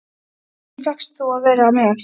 Af hverju fékkst þú að vera með